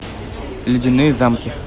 ледяные замки